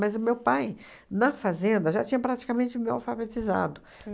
o meu pai, na fazenda, já tinha praticamente me alfabetizado.